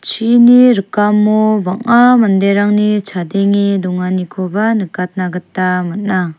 chini rikamo bang·a manderangni chadenge donganikoba nikatna gita man·a.